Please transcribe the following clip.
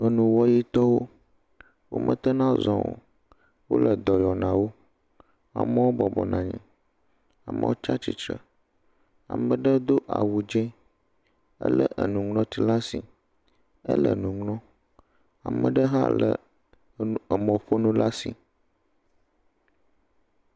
Enuwɔyitɔwo, wometena zɔ, wole edɔ yɔ na wo. Amewo bɔbɔnɔ anyi, amewo tsatsitre, ameɖe do awu dzẽ, ele enuŋlɔti l'asi ele nuŋlɔ, ameɖe hã le emɔƒonu l'asi.